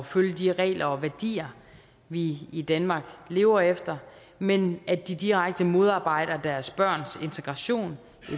følge de regler og værdier vi i danmark lever efter men at de direkte modarbejder deres børns integration